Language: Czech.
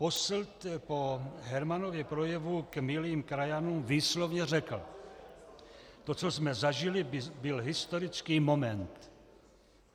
Posselt po Hermanově projevu k milým krajanům výslovně řekl: To, co jsme zažili, byl historický moment.